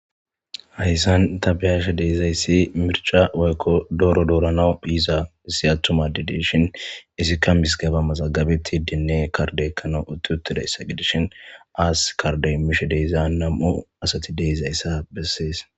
hayssan tabiyasha deezayssi mircha woykko dooro doorana hiiza isiyathumadedeshin isikka mis gaba maxagabetti dinne kardekkana udti utudayssa gidishin as kardey mishe deiza nam7u asati deezayssa bessees